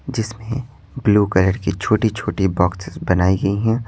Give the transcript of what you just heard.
जिसमें blue colour की छोटी-छोटी बॉक्सेस बनाई गई हैं।